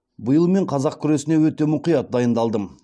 биыл мен қазақ күресіне өте мұқият дайындалдым